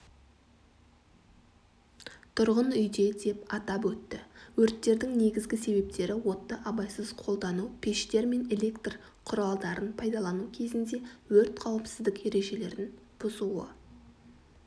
тұрғын үйде деп атап өтті өрттердің негізгі себептері отты абайсыз қолдану пештер мен электрқұралдарын пайдалану кезінде өрт қауіпсіздік ережелерін бұзуы